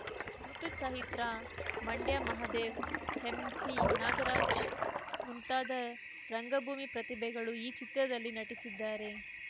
ಋುತು Chaitra Mandya Mahadev M C Nagaraj ಮುಂತಾದ ರಂಗಭೂಮಿ ಪ್ರತಿಭೆಗಳು ಈ ಚಿತ್ರದಲ್ಲಿ ನಟಿಸಿದ್ದಾರೆ